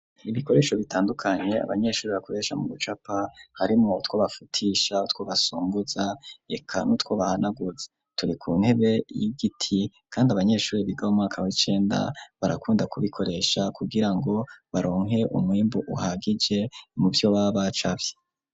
Ibikoresho bitandukanye abanyeshuri bakoresha mu bucapa harimo utwobafutisha utwo basungoza reka nutwo bahanaguza turi ku ntebe y'igiti kandi abanyeshuri biga mu mwaka w icenda barakunda kubikoresha kugirango baronke umwimbu uhagije muvyo baba bacafye.